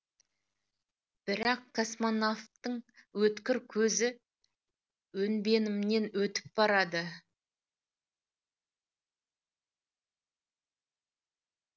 бірақ космонавтың өткір көзі өнбенімнен өтіп барады